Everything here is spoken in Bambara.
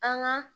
An ka